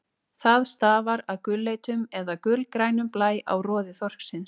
Það stafar af gulleitum eða gulgrænum blæ á roði þorsksins.